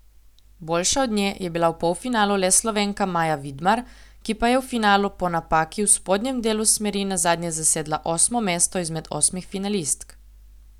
Boljša od nje je bila v polfinalu le Slovenka Maja Vidmar, ki pa je v finalu po napaki v spodnjem delu smeri nazadnje zasedla osmo mesto izmed osmih finalistk.